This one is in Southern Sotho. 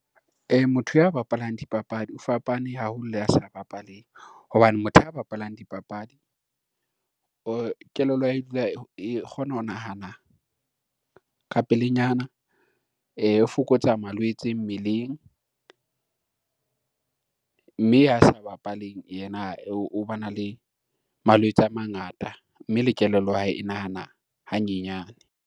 Motho ya bapalang dipapadi o fapane haholo le ya sa bapaleng, hobane motho ya bapalang dipapadi kelello ya hae e dula e kgona ho nahana ka pelenyana, fokotsa malwetse mmeleng, mme ya sa bapaleng yena o ba na le malwetse a mangata mme le kelello ya hae e nahana hanyenyane.